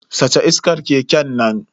Sace iskar keken nan.